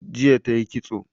Jiya tayi ƙitso